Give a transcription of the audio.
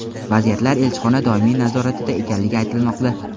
Vaziyat elchixona doimiy nazoratida ekanligi aytilmoqda.